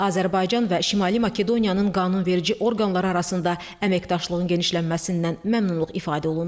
Azərbaycan və Şimali Makedoniyanın qanunverici orqanları arasında əməkdaşlığın genişlənməsindən məmnunluq ifadə olundu.